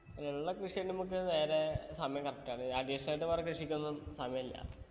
ഉള്ള കൃഷിയഞ്ഞെ നമ്മക്ക് നേരെ സമയം correct ആണ് additional ആയിട്ട് വേറെ കൃഷിക്കൊന്നും സമയില്ല